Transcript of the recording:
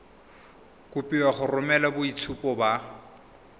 kopiwa go romela boitshupo ba